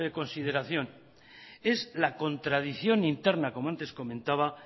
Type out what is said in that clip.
consideración es la contradicción interna como antes comentaba